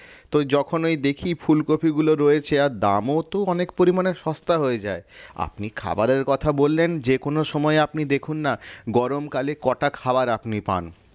তো যখন ওই দেখি ফুলকপি গুলো রয়েছে আর দামও তো অনেক পরিমাণে সস্তা হয়ে যায় আপনি খাবারের কথা বললেন যেকোনো সময়ে আপনি দেখুন না গরমকালে কটা খাবার আপনি পান